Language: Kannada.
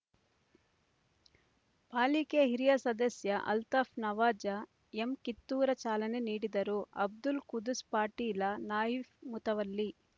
ಪಾಲಿಕೆಯ ಹಿರಿಯ ಸದಸ್ಯ ಅಲ್ತಾಫ್ ನವಾಜ ಎಮ್ ಕಿತ್ತೂರ ಚಾಲನೆ ನೀಡಿದರುಅಬ್ದುಲ್‌ ಕುದುಸ್ ಪಾಟೀಲ ನಾಯಿಫ್ ಮುತವಲ್ಲಿ